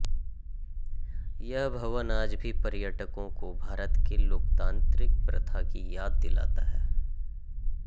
यह भवन आज भी पर्यटकों को भारत के लोकतांत्रिक प्रथा की याद दिलाता है